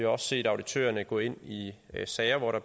også set auditørerne gå ind i sager hvor der